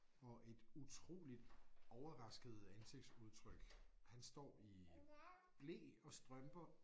Og et utroligt overrasket ansigtsudtryk han står i ble og strømper